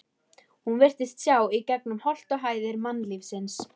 Hún virtist sjá gegnum holt og hæðir mannlífsins.